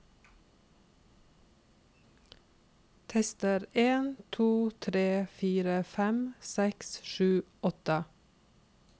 Tester en to tre fire fem seks sju åtte